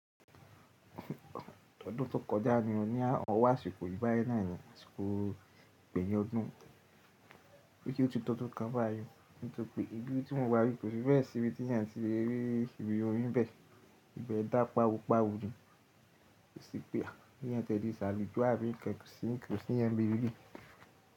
Ọdún tó kọjá ni o ní àwọn asikòyí báyìí náà nii, àsìkò pẹ̀yù ọdún, bóyá ó ti tọ́tọ́ kan báyìí nítorí pé ìdí tí wọ́n wá rí kò fi bẹ́ẹ̀ sí ibi tí èèyàn ti lè rí ibi orin bẹ́ẹ̀, ìbẹ da páwópáwó jù. Ó sì pé àbí èèyàn tẹ̀dí sàlì jó a bí ǹkankan sì n kò sí ǹjẹ́ bíbí.